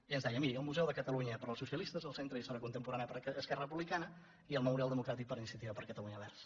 i ens deia miri el museu de catalunya per als socialistes el centre d’història contemporània per a esquerra republicana i el memorial democràtic per a iniciativa per catalunya verds